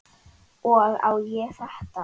Og á ég þetta?